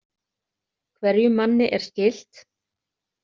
Hverjum manni er skylt.